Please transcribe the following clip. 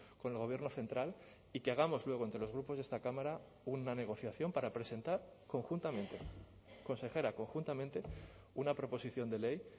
con el gobierno central y que hagamos luego entre los grupos de esta cámara una negociación para presentar conjuntamente consejera conjuntamente una proposición de ley